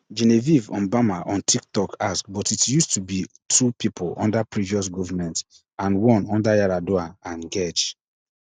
genevieve mbama on twitter ask but it used to be two pipo under previous govment and one under yar adua and gej